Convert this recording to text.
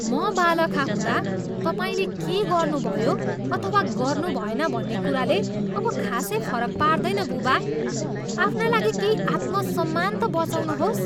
म बालखा हुँदा तपाईँले के गर्नुभयो अथवा गर्नुभएन भन्ने कुराले अब खासै फरक पार्दैन, बुबा। आफ्ना लागि केही आत्मसम्मान त बँचाउनुहोस्!